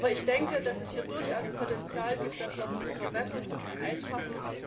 Aber ich denke, dass es hier durchaus Potenzial gibt, das noch zu verbessern, zu vereinfachen.